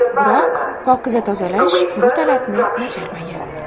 Biroq ‘Pokiza Tozalash’ bu talabni bajarmagan.